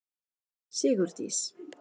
Sigurdís